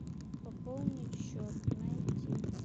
пополнить счет найти